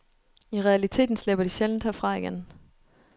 I realiteten slipper de sjældent herfra igen.